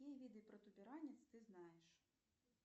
какие виды протуберанец ты знаешь